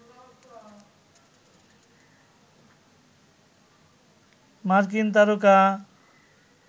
মার্কিন তারকা